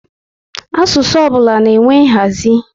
Asụsụ ọbụla na-enwe nhazi